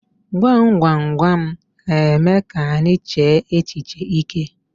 Gwam gwam gwam n'eme ka anyị chee echiche ike.